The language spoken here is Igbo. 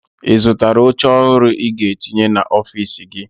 Ị zụtara oche ọhụrụ ị ga-etinye n'ọfiisi gị?